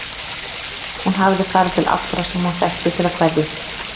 Hún hafði farið til allra sem hún þekkti til að kveðja.